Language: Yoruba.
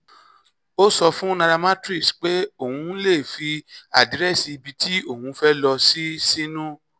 ó sọ fún nairametrics pé òun lè fi àdírẹ́sì ibi tí òun fẹ́ lọ sí sínú